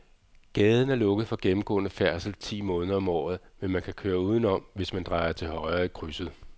Gaden er lukket for gennemgående færdsel ti måneder om året, men man kan køre udenom, hvis man drejer til højre i krydset.